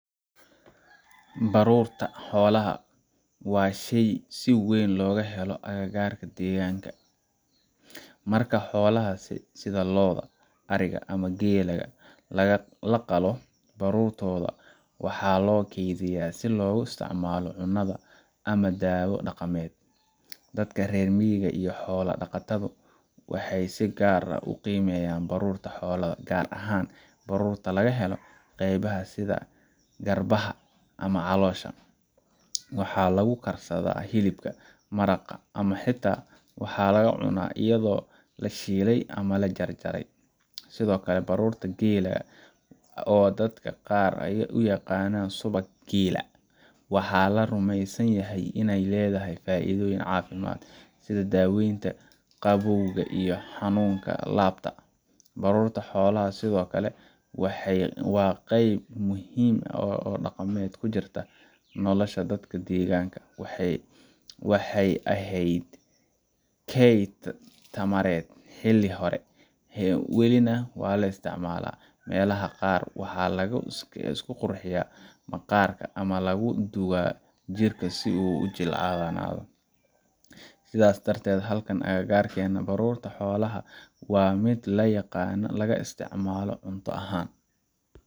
Haa, baruurta xoolaha waa shay si weyn looga helo aagga aan deganahay. Marka xoolaha sida lo’da, ariga, ama geela la qalo, baruurtooda waxaa loo keydiyaa si loogu isticmaalo cunnada ama dawo dhaqameed. Dadka reer miyiga iyo xoolo dhaqatadu waxay si gaar ah u qiimeeyaan baruurta xoolaha, gaar ahaan baruurta laga helo qeybaha sida garbaha ama caloosha. Waxaa lagu karsadaa hilibka, maraqa, ama xitaa waxaa la cunaa iyadoo la shiilay ama la jarjarey. Sidoo kale, baruurta geela, oo dadka qaar u yaqaaniin subag geela, waxaa la rumeysan yahay inay leedahay faa’iido caafimaad sida daweynta qabowga iyo xanuunka laabta. Baruurta xoolaha sidoo kale waa qayb muhiim ah oo dhaqameed oo ku jirta nolosha dadka deegaanka. Waxay ahayd kayd tamareed xilli hore, welina waa la isticmaalaa. Meelaha qaar, waxaa lagu isku qurxiyaa maqaarka ama lagu duugaa jirka si uu u jilcanado. Sidaas darteed, halkan agagaarkeenna, baruurta xoolaha waa mid la yaqaan, laga isticmaalo cunto ahaan